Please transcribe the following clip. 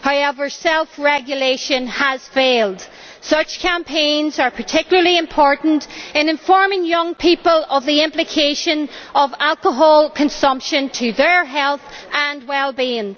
However, self regulation has failed. Such campaigns are particularly important in informing young people of the implications of alcohol consumption for their health and well being.